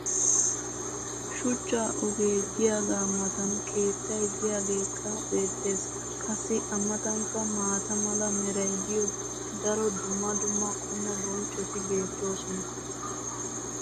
shuchcha ogee diyaagaa matan keettay diyaageekka beetees. qassi a matankka maata mala meray de'iyo daro dumma dumma qommo bonccoti beetoosona.